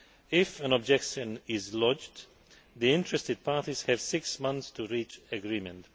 If an objection is lodged, the interested parties have six months to reach agreement.